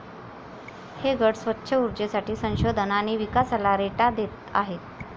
हे गट स्वच्छ उर्जेसाठी संशोधन आणि विकासाला रेटा देत आहेत.